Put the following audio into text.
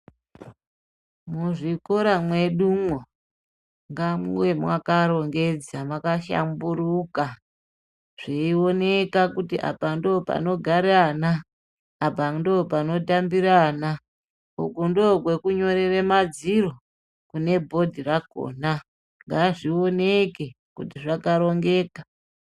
Muzvikora mwedumwo ngamuve mwakarongedza mwakahlamburuka zveioneka kuti apa ndopanogare ana, apandopanotambire ana, uku ndokwekunyorere madziro kune bhodhi rakona ngazvioneke kuti zvakarongeka.